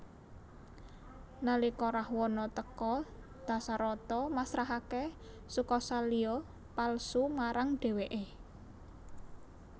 Nalika Rahwana teka Dasarata masrahake Sukasalya palsu marang dheweke